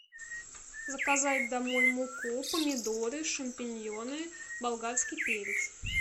заказать домой муку помидоры шампиньоны болгарский перец